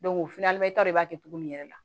de b'a to cogo min yɛrɛ la